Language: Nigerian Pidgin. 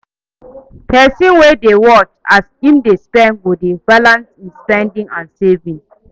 Pesin wey dey watch as im dey spend go dey balance im spending and saving